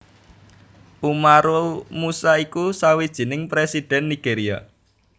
Umaru Musa iku sawijining Presidhen Nigeria